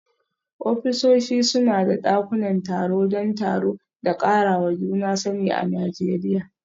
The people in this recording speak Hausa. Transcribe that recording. Ofisoshi suna da dakunan taro don taro da karawa juna sani a Najeriya.